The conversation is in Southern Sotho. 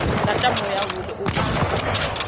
lata moya hole o a